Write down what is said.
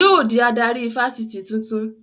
Yóò dí adarí ifásitì tuntun